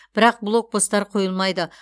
бірақ блокпостар қойылмайды